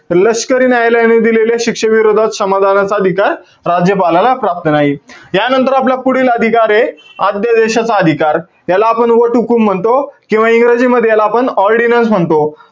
लष्करी न्यायालयाने दिलेल्या शिक्षेविरोधात, क्षमादानाचा अधिकार, राज्यपालाला प्राप्त नाही. त्यानंतर आपला पुढील अधिकारे, आद्य देशाचा अधिकार, त्याला आपण वटहुकूम म्हणतो. किंवा इंग्रजीमध्ये याला आपण ordinance म्हणतो.